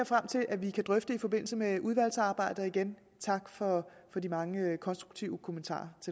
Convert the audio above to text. frem til at vi kan drøfte i forbindelse med udvalgsarbejdet igen tak for de mange konstruktive kommentarer